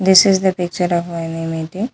This is the picture of any meeting.